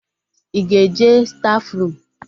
Ị ga-eje stafurum?